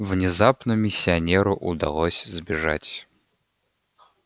внезапно миссионеру удалось сбежать